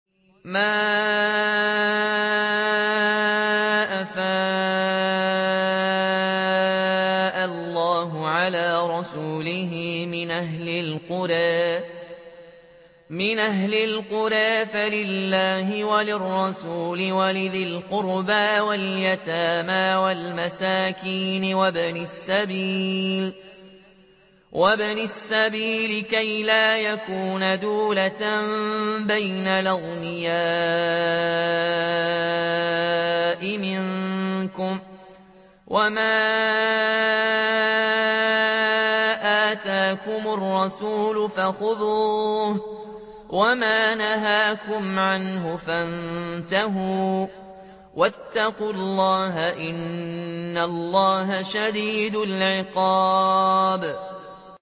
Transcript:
مَّا أَفَاءَ اللَّهُ عَلَىٰ رَسُولِهِ مِنْ أَهْلِ الْقُرَىٰ فَلِلَّهِ وَلِلرَّسُولِ وَلِذِي الْقُرْبَىٰ وَالْيَتَامَىٰ وَالْمَسَاكِينِ وَابْنِ السَّبِيلِ كَيْ لَا يَكُونَ دُولَةً بَيْنَ الْأَغْنِيَاءِ مِنكُمْ ۚ وَمَا آتَاكُمُ الرَّسُولُ فَخُذُوهُ وَمَا نَهَاكُمْ عَنْهُ فَانتَهُوا ۚ وَاتَّقُوا اللَّهَ ۖ إِنَّ اللَّهَ شَدِيدُ الْعِقَابِ